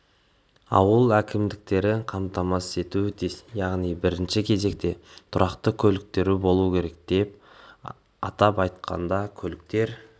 ауыл әкімдіктері қамтамасыз етуі тиіс яғни бірінші кезекте тұрақты көліктері болуы керек атап айтқанда көліктер